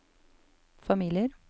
familier